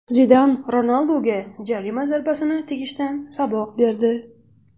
Zidan Ronalduga jarima zarbasini tepishdan saboq berdi.